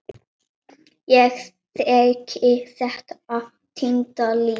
Ég þekki þetta týnda líf.